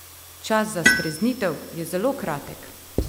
Čas za streznitev je zelo kratek!